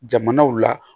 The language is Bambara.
Jamanaw la